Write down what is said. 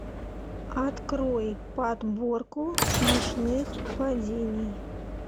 открой подборку смешных падений